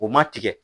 O ma tigɛ